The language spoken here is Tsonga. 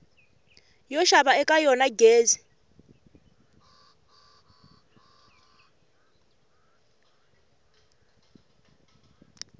yo xava eka yona gezi